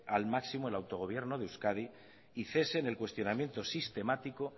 al máximo al autogobierno de euskadi y cese en el cuestionamiento sistemático